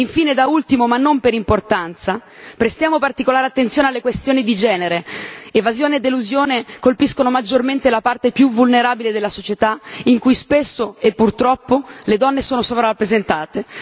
E da ultimo, ma non per importanza, prestiamo particolare attenzione alle questioni di genere evasione ed elusione colpiscono maggiormente la parte più vulnerabile della società in cui spesso e purtroppo le donne sono sovrarappresentate.